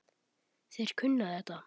Þeir kunna þetta.